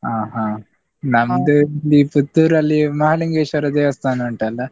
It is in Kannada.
ಹಾ ಹಾ ಇಲ್ಲಿ Puttur ಅಲ್ಲಿ ಮಹಾಲಿಂಗೇಶ್ವರ ದೇವಸ್ಥಾನ ಉಂಟಲ್ಲ?